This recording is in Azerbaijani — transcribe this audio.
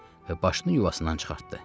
və başını yuvasından çıxartdı.